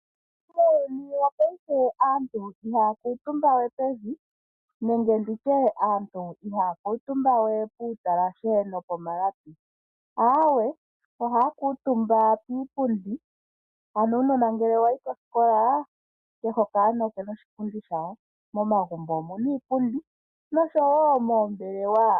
Muuyuni wopaife aantu ihaakutumba wee pevi nenge nditye aantu iihaa kuutumba we puutalahe noko malapi aawe ohaa kuutumba kiipundi, ano uunona ngele wayi koskola kehe okaana okena oshipundi shako momagumbo omuna iipundi noshowo moombelewa.